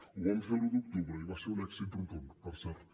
ho vam fer l’un d’octubre i va ser un èxit rotund per cert